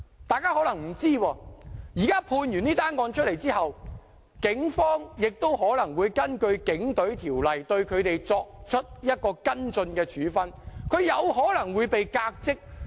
大家可能不知道，這宗案件有判決後，警方可能會根據《警隊條例》對他們作出跟進處分，他們有可能會被革職。